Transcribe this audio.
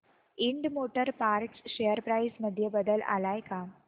Ind motor parts share price मध्ये बदल आलाय का